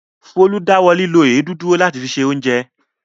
Folú dáwọ́ lílo ewédú dúró láti fi se oúnjẹ.